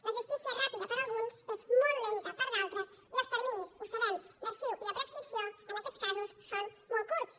la justícia és ràpida per a alguns és molt lenta per a d’altres i els terminis ho sabem d’arxivament i de prescripció en aquests casos són molt curts